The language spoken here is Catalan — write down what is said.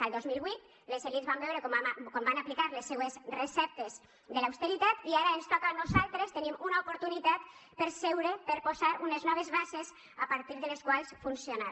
el dos mil vuit les elits van veure com van aplicar les seues receptes de l’austeritat i ara ens toca a nosaltres tenim una oportunitat per seure per posar unes noves bases a partir de les quals funcionar